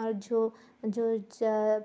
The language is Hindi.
और जो जो ज